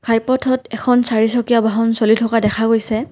ঘাই পথত এখন চাৰিচকীয়া বাহন চলি থকা দেখা গৈছে।